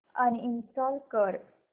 uninstall कर